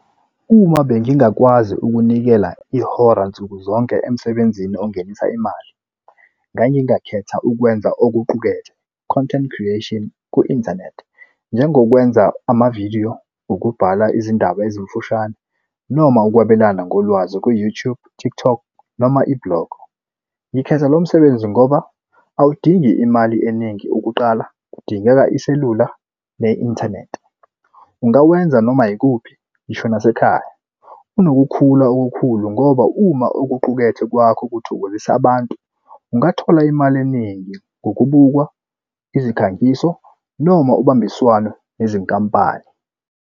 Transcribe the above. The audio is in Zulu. Uma bengingakwazi ukunikela ihora nsukuzonke emsebenzini ongenisa imali ngangingakhetha ukwenza okuqukethe content creation ku-inthanethi. Njengokwenza amavidiyo ukubhala izindaba ezimfushane noma ukwabelana ngolwazi ku-YouTube, TikTok, noma i-blog. Ngikhetha lo msebenzi ngoba awudingi imali eningi ukuqala, kudingeka iselula ne-inthanethi. Ungawenza noma ikuphi ngisho nasekhaya. Unokukhula okukhulu ngoba uma ukuqukethe kwakho kuthokozisa abantu, ungathola imali eningi ngokubukwa izikhangiso noma ubambiswano nezinkampani.